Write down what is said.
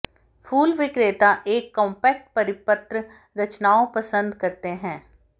फूल विक्रेता एक कॉम्पैक्ट परिपत्र रचनाओं पसंद करते हैं